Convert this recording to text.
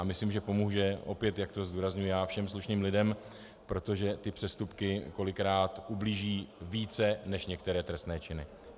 A myslím, že pomůže, opět jak to zdůrazňuji já, všem slušným lidem, protože ty přestupky kolikrát ublíží více než některé trestné činy.